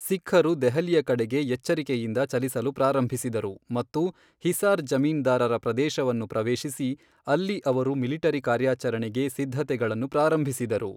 ಸಿಖ್ಖರು ದೆಹಲಿಯ ಕಡೆಗೆ ಎಚ್ಚರಿಕೆಯಿಂದ ಚಲಿಸಲು ಪ್ರಾರಂಭಿಸಿದರು ಮತ್ತು ಹಿಸಾರ್ ಜಮೀನ್ದಾರರ ಪ್ರದೇಶವನ್ನು ಪ್ರವೇಶಿಸಿ, ಅಲ್ಲಿ ಅವರು ಮಿಲಿಟರಿ ಕಾರ್ಯಾಚರಣೆಗೆ ಸಿದ್ಧತೆಗಳನ್ನು ಪ್ರಾರಂಭಿಸಿದರು.